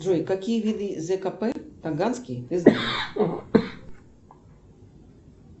джой какие виды зкп таганский ты знаешь